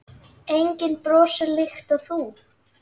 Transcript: Enginn brosir líkt og þú.